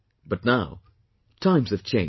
But now times have changed